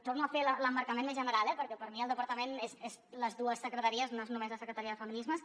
torno a fer l’emmarcament més general eh perquè per mi el departament és les dues secretaries no és només la secretaria de feminismes